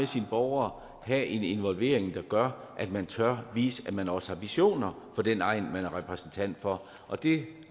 sine borgere have en involvering der gør at man tør vise at man også har visioner for den egn man er repræsentant for og det